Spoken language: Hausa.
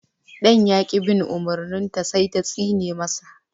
Ɗan ya ƙi bin umurnin ta sai ta tsine ma sa